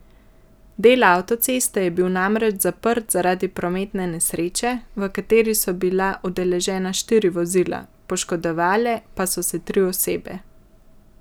Del avtoceste je bil namreč zaprt zaradi prometne nesreče, v kateri so bila udeležena štiri vozila, poškodovale pa so se tri osebe.